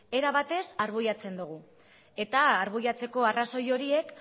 era batez arbuiatzen dugu eta arbuiatzeko arrazoi horiek